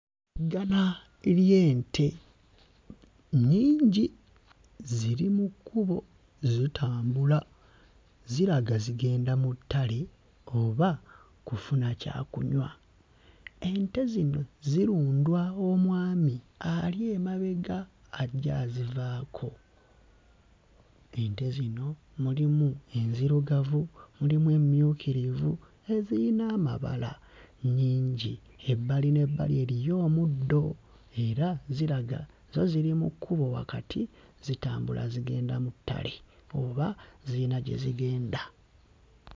Ggana ly'ente nnyingi, ziri mu kkubo zitambula, ziraga zigenda mu ttale oba kufuna kyakunywa, ente zino zirundwa omwami ali emabega ajja azivaako, ente zino mulimu enzirugavu, mulimu emmyukirivu eziyina amabala nnyingi, ebbali n'ebbali eriyo omuddo era ziraga zo ziri mu kkubo wakati zitambula zigenda mu ttale oba ziyina gye zigenda.